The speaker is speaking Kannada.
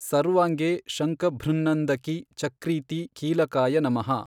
ಸರ್ವಾಂಗೆ ಶಂಖಭೃನ್ನಂದಕಿ ಚಕ್ರೀತಿ ಕೀಲಕಾಯ ನಮಃ।